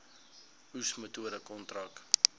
oes metode kontrak